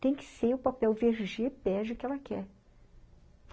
Tem que ser o papel vê gê bege que ela quer.